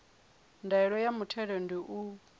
ndaela ya muthelo ndi u